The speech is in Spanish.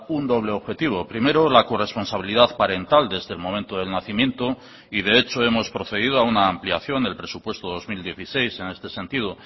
un doble objetivo primero la corresponsabilidad parental desde el momento del nacimiento y de hecho hemos procedido a una ampliación del presupuesto dos mil dieciséis en este sentido